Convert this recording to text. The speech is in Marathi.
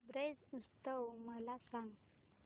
ब्रज उत्सव मला सांग